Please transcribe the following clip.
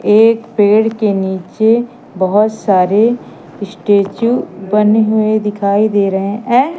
एक पेड़ के नीचे बहोत सारे स्टैचू बने हुए दिखाई दे रहे हैं यें--